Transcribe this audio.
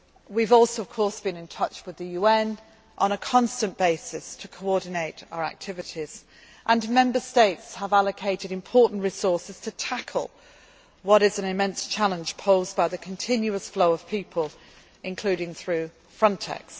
working well. We have also, of course, been in touch with the UN on a constant basis to coordinate our activities and Member States have allocated important resources to tackle what is an immense challenge posed by the continuous flow of people, including through